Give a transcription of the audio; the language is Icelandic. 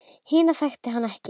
Hina þekkir hann ekki.